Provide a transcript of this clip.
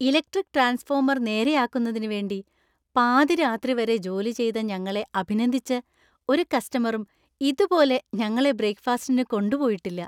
Electric transformer നേരെയാക്കുന്നതിനു വേണ്ടി പാതിരാത്രി വരെ ജോലി ചെയ്ത ഞങ്ങളെ അഭിനന്ദിച്ച് ഒരു കസ്റ്റമറും ഇതുപോലെ ഞങ്ങളെ ബ്രേക്ക് ഫാസ്റ്റിന് കൊണ്ടുപോയിട്ടില്ല.